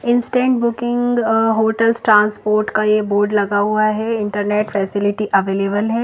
Instant booking hotels transport का ये board लगा हुआ है इंटरनेट फैसिलिटी अवेलेबल है।